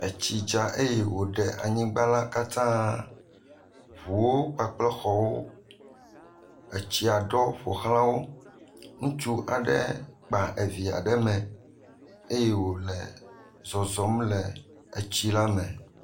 Etsi dza eye wò ɖe anyigba la kata, ʋuwo kpakple xɔwo, etsia ɖɔ ƒoxlã wo, ŋutsu aɖe kpa evia ɖe mee eye wò le zɔzɔm le etsi la me.